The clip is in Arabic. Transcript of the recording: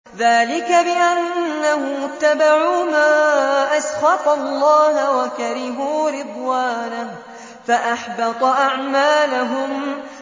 ذَٰلِكَ بِأَنَّهُمُ اتَّبَعُوا مَا أَسْخَطَ اللَّهَ وَكَرِهُوا رِضْوَانَهُ فَأَحْبَطَ أَعْمَالَهُمْ